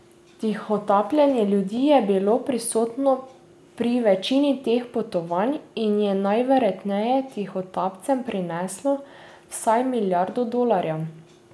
Tihotapljenje ljudi je bilo prisotno pri večini teh potovanj in je najverjetneje tihotapcem prineslo vsaj milijardo dolarjev.